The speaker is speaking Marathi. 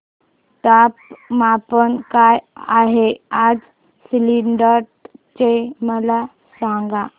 तापमान काय आहे आज सिल्लोड चे मला सांगा